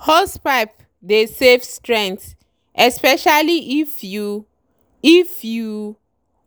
hosepipe dey save strength especially if you if you